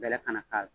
Bɛlɛ ka na k'a la